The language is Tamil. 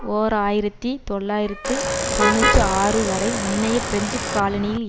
ஓர் ஆயிரத்தி தொள்ளாயிரத்து தொன்னூற்றி ஆறு வரை முன்னைய பிரெஞ்சு காலனியில்